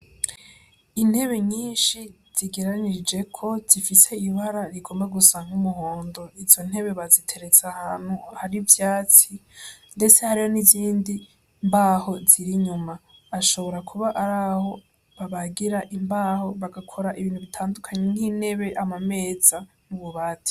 Intebe nyinshi zigeranirijeko zifise ibara rigomba gusa nk'umuhondo, izo ntebe baziteretse ahantu hari ivyatsi ndetse hariho n'izindi mbaho ziri inyuma bashobora kuba araho babagira imbaho bagakora ibintu bitandukanye nk'intebe, amameza n'ububati.